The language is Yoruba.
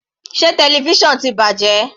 Sé television ti bàjẹ́?